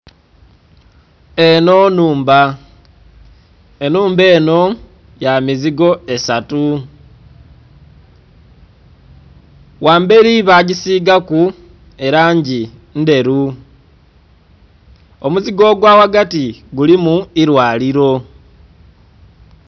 Eno nhumba, enhumba eno ya mizigo esatu ghamberi bagisigaku elangi ndheru, omuzigo ogwa ghagati gulimu ilwaliro.